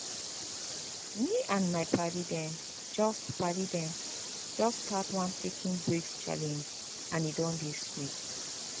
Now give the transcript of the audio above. me and my padi dem just padi dem just start one taking breaks challenge and e don dey sweet